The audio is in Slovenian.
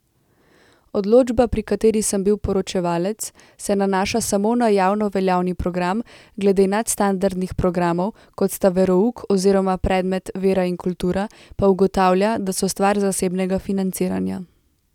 Odločba, pri kateri sem bil poročevalec, se nanaša samo na javnoveljavni program, glede nadstandardnih programov, kot sta verouk oziroma predmet vera in kultura, pa ugotavlja, da so stvar zasebnega financiranja.